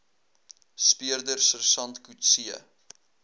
speurder sersant coetzee